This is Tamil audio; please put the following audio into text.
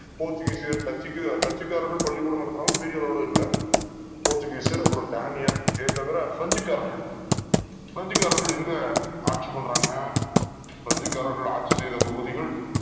போர்ச்சு கீசியர்கள் டச்சுக்காரர்கள் பள்ளிக் கூடம் நடத்தினாலும் பெரிய அளவுல இல்ல போர்ச்சுகீசியர் அப்புறம் டேனியர் இதைத் தவிர பிரெஞ்சு காரர்கள் பிரெஞ்சுக் காரர்கள் எங்க ஆட்சி பண்றாங்க ஆட்சி செய்த பகுதிகள்